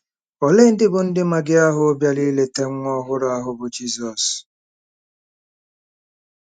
Ole ndị bụ ndị Magi ahụ bịara ileta nwa ọhụrụ ahụ bụ́ Jizọs?